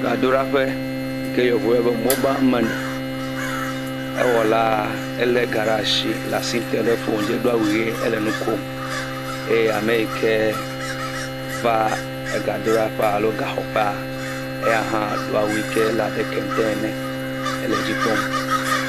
Gadoɖaƒe yi ke yevuwo yɔna be mobamani. Ewɔla lé ga ɖe asi le asi tem ɖe foni dzi. Edo awu ʋie ele nu kom eye ame yi ke va ga do ɖe ƒe alo ga xɔƒe, eya hã do awu yi ke le abe kente ene hele dzi kpɔm.